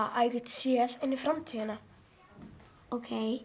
að ég get séð inn í framtíðina ókei